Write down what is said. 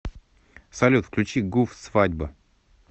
салют включи гуф свадьба